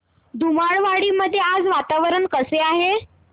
धुमाळवाडी मध्ये आज वातावरण कसे आहे